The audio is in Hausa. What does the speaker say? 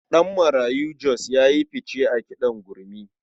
Ɗanmarayo Jos ya yi fice a kiɗan gurmi.